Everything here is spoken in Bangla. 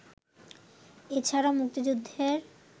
এছাড়া মুক্তিযুদ্ধের